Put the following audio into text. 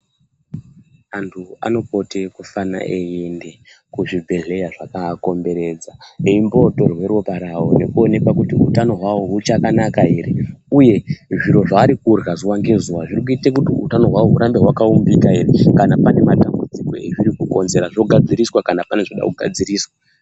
Antu anopote anofane eiende kuzvibhedhleya zvakakaakomberedza embotorwa ropa ravo nekuone kuti utano hwavo huchakanaka ere, uye zviro zvarikurya zuva ngezuva zviri kuita kuti utano hwavo hurambe hwakaumbika ere. Kana pane matambudziko azviri kukonzera zvogadziriswa kana pane zvuda kugadziriswa.